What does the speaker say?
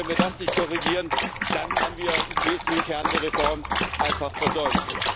Und wenn wir das nicht korrigieren, dann haben wir den wesentlichen Kern der Reform einfach versäumt.